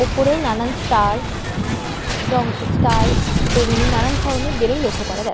ওপরেও নানান ষ্টার ডং ষ্টার বেগুনি নানান ধরণের বেলুন লক্ষ্য করা যায়।